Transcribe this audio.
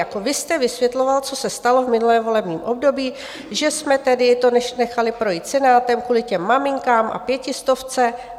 Jako vy jste vysvětloval, co se stalo v minulém volebním období, že jsme tedy to nechali projít Senátem kvůli těm maminkám a pětistovce.